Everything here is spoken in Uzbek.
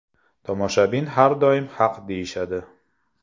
Tomoshabin har doim haq deyishadi.